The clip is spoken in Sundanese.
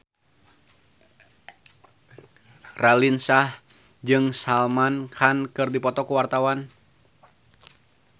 Raline Shah jeung Salman Khan keur dipoto ku wartawan